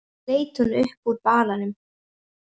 Svo leit hún upp úr balanum.